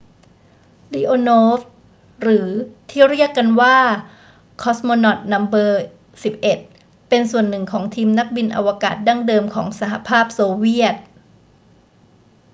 leonov หรือที่เรียกกันว่า cosmonaut no 11 เป็นส่วนหนึ่งของทีมนักบินอวกาศดั้งเดิมของสหภาพโซเวียต